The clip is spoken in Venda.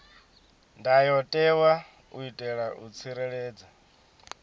ndayotewa u itela u tsireledza